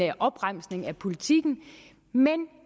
opremsning af politikken men